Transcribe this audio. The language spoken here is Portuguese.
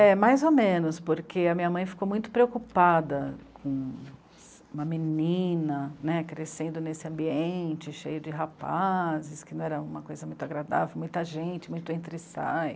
É, mais ou menos, porque a minha mãe ficou muito preocupada com uma menina, né? crescendo nesse ambiente, cheio de rapazes, que não era uma coisa muito agradável, muita gente, muito entra e sai.